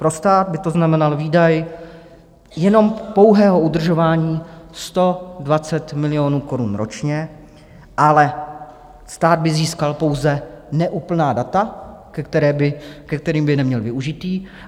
Pro stát by to znamenalo výdaj jenom pouhého udržování 120 milionů korun ročně, ale stát by získal pouze neúplná data, ke kterým by neměl využití.